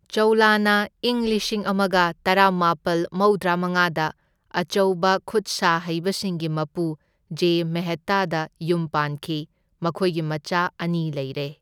ꯆꯥꯎꯂꯥꯅ ꯏꯪ ꯂꯤꯁꯤꯡ ꯑꯃꯒ ꯇꯔꯥꯃꯥꯄꯜ ꯃꯧꯗ꯭ꯔꯥ ꯃꯉꯥꯗ ꯑꯆꯧꯕ ꯈꯨꯠꯁꯥ ꯍꯩꯕꯁꯤꯡꯒꯤ ꯃꯄꯨ ꯖꯦ ꯃꯦꯍꯇꯥꯗ ꯌꯨꯝ ꯄꯥꯟꯈꯤ, ꯃꯈꯣꯢꯒꯤ ꯃꯆꯥ ꯑꯅꯤ ꯂꯩꯔꯦ꯫